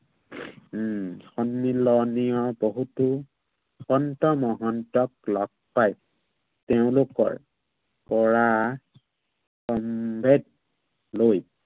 উম সন্মিলনীয় বহুতো, সন্ত মহন্তক লগ পাই তেওঁলোকৰ পৰা সম্ভেদ লৈ